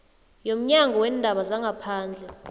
yomnyango weendaba zangaphandle